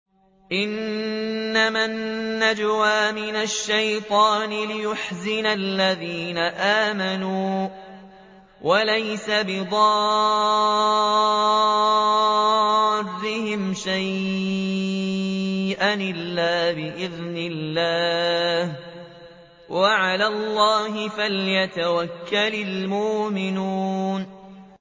إِنَّمَا النَّجْوَىٰ مِنَ الشَّيْطَانِ لِيَحْزُنَ الَّذِينَ آمَنُوا وَلَيْسَ بِضَارِّهِمْ شَيْئًا إِلَّا بِإِذْنِ اللَّهِ ۚ وَعَلَى اللَّهِ فَلْيَتَوَكَّلِ الْمُؤْمِنُونَ